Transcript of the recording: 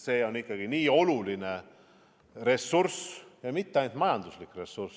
See on ikkagi nii oluline ressurss, ja mitte ainult majanduslik ressurss.